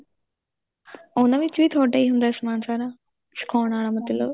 ਉਹਨਾ ਵਿੱਚ ਵੀ ਤੁਹਾਡਾ ਹੀ ਸਮਾਨ ਸਾਰਾ ਸਿਖਾਉਣ ਵਾਲਾ ਮਤਲਬ